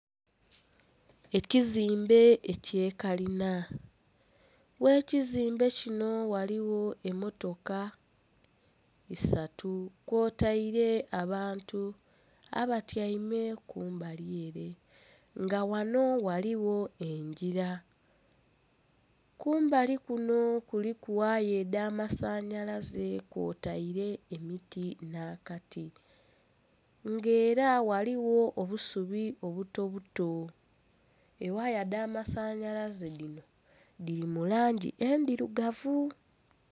Ekizimbe ekye kalinha, ghe kizimbe kino ghaligho emmotoka isatu kwotaire abantu abatyaime kumbali ere nga ghano ghaligho engira kumbali kuno kuliku waaya edhamasanalaze kwotaire emiti n'akati nga era ghaligho obusubi obuto buto ewaaya edhamasanalaze dhino dhiri mu langi endhirugavu.